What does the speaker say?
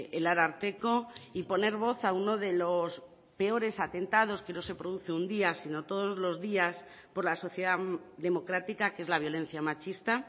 el ararteko y poner voz a uno de los peores atentados que no se produce un día sino todos los días por la sociedad democrática que es la violencia machista